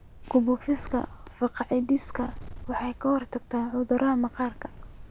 Ku buufinta fungicides waxay ka hortagtaa cudurrada maqaarka.